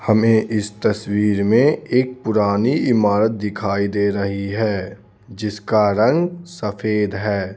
हमें इस तस्वीर में एक पुरानी इमारत दिखाई दे रही है जिसका रंग सफेद है.